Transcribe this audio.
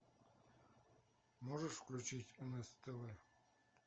можешь включить нс тв